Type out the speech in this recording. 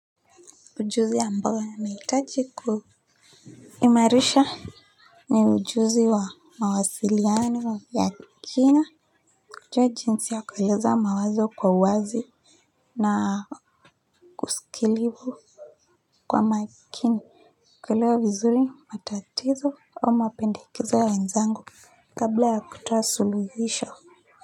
Ujuzi ambao nahitaji ku imarisha ni ujuzi wa mawasiliano ya kina kujua jinsi ya kueleza mawazo kwa uwazi na kuskilivu kwa makini kuelewa vizuri matatizo au mapendekezo ya wenzangu kabla ya kutoa suluhisho.